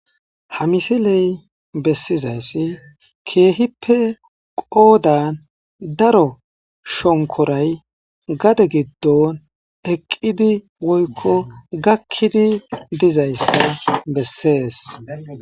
Ha misiley bessizayssi keehippe qoodan daro shonkoray gade giddon eqqidi woykko gakkidi dizayssa bessees